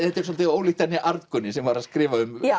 svolítið ólíkt henni Arngunni sem var að skrifa um